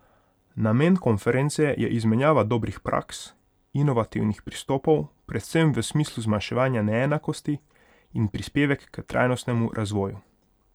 Namen konference je izmenjava dobrih praks, inovativnih pristopov predvsem v smislu zmanjševanja neenakosti in prispevek k trajnostnemu razvoju.